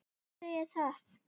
Þér athugið það.